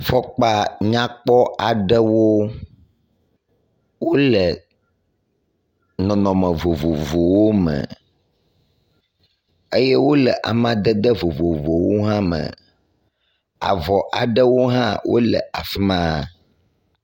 Fɔkpa nyakpɔ aɖewo wole nɔnɔme vovovowo me eye wole amadede vovovowo hã me, ɔ avɔ aɖewo hã wole afima.